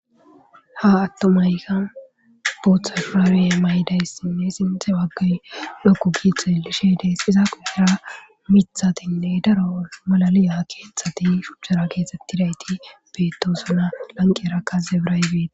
ha attomayykan booththa fraawey maydayssinne sinthe waggay lokku giitheelishe dees izaa qu hira mithatinne daro malaliya keeththati shuchchara keexxettidayti beettosona lanqeera kaze bira ybeda